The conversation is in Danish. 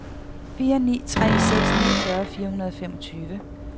fire ni tre seks niogtyve fire hundrede og femogfyrre